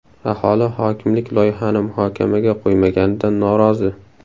Aholi hokimlik loyihani muhokamaga qo‘ymaganidan norozi.